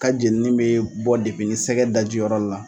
Ka jenini be bɔ depini sɛgɛ daji yɔrɔ la